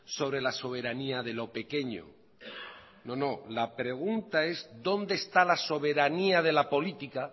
sobre la soberanía de lo pequeño no no la pregunta es dónde está la soberanía de la política